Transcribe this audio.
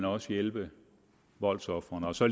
også hjælpe voldsofrene og så